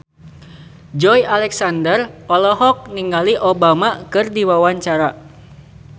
Joey Alexander olohok ningali Obama keur diwawancara